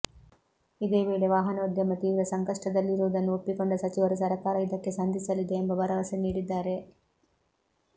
ಇದೇ ವೇಳೆ ವಾಹನೋದ್ಯಮ ತೀವ್ರ ಸಂಕಷ್ಟದಲ್ಲಿರುವುದನ್ನು ಒಪ್ಪಿಕೊಂಡ ಸಚಿವರು ಸರಕಾರ ಇದಕ್ಕೆ ಸಂದಿಸಲಿದೆ ಎಂಬ ಭರವಸೆ ನೀಡಿದ್ದಾರೆ